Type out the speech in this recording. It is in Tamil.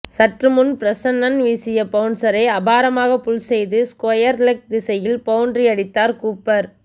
சற்று முன் பிரெஸ்னன் வீசிய பவுன்சரை அபாரமாக புல் செய்து ஸ்கொயர் லெக் திசையில் பவுண்டரி அடித்தார் கூப்பர்